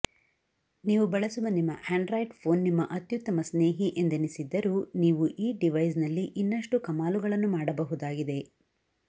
ನೀವು ಬಳಸುವ ನಿಮ್ಮ ಆಂಡ್ರಾಯ್ಡ್ ಫೋನ್ ನಿಮ್ಮ ಅತ್ಯುತ್ತಮ ಸ್ನೇಹಿ ಎಂದೆನಿಸಿದ್ದರೂ ನೀವು ಈ ಡಿವೈಸ್ನಲ್ಲಿ ಇನ್ನಷ್ಟು ಕಮಾಲುಗಳನ್ನು ಮಾಡಬಹುದಾಗಿದೆ